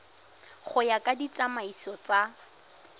go ya ka ditsamaiso tsa